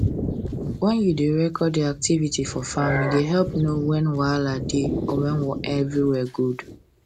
when you da record your activity for farm e da help know when wahala da or everywhere good